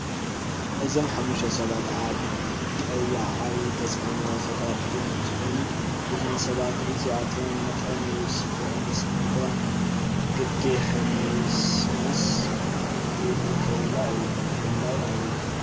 እዞም ሓሙሽተ ሰባት ኣብ ጰያ ዓብይ ተፅዕኖ ፈጠርቲ እንትከኑ እዞም ሰባት እዚኣቶብ መጠኑ ይውስንክ ይቅንስን እምበር ዓዲ ሕምስምሰ ዝእተውላ እዮም ። ብፍላይ ኣብይ።